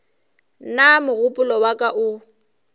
nna mogopolo wa ka o